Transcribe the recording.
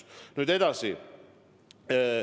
Nüüd edasi.